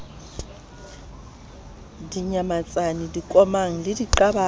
dinyamatsane dikomang le diqabang ya